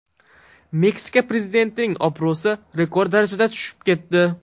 Meksika prezidentining obro‘si rekord darajada tushib ketdi.